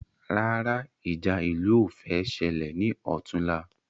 Rárá ìjà ìlú ní o fẹ́ ṣẹlẹ̀ ni ọ̀túnla